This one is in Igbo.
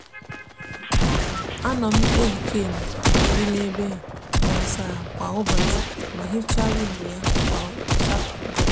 a no m ehicha enyo di n'ebe a n'asa ahu kwa ubochi ma hicha windo ya kwa ubochi satode.